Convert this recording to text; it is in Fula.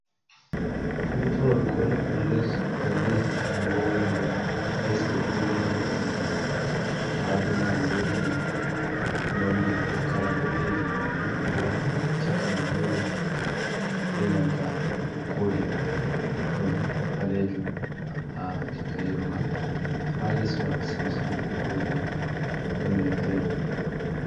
Tuutawol ko leppol les lesdi woori nder lesɗe duniyaaru ɗum minmari. Ha douman woodi nonnee ko kaala boɗejum ɗo waafi, chakaman yeelo benanta koode. Ɗon ɓalejum ha chaka yeloman ha lesman samsambo woodi nonne giriin.